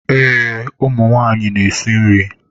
Ee, ụmụ nwanyị na-esi nri.